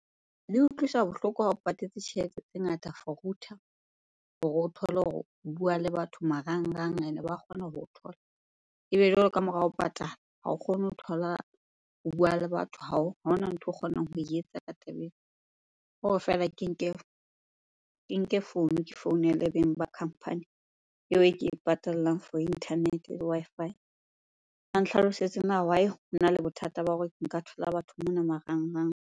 Le utlwisa bohloko ha o patetse tjhelete tse ngata for router hore o thole hore o bua le batho marangrang ene ba kgona ho o thola. Ebe jwale ka mora ho patala, ha o kgone ho thola, ho bua le batho ha ona ntho o kgonang ho e etsa ka taba ena. Ke hore feela ke nke founu, ke founele beng ba company eo e ke e patallang for internet-e le Wi-Fi. Ba nhlalosetse na why hona le bothata ba hore nka thola batho mona marangrang?